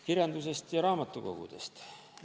Kirjandusest ja raamatukogudest.